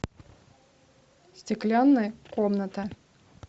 стеклянная комната